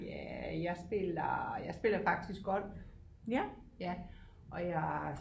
Ja jeg spiller jeg spiller faktisk golf ja og jeg